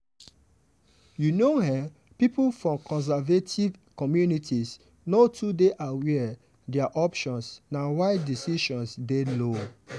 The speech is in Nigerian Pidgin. you know ehhn pipo for conservative communities no too dey aware their options na why decisions dey low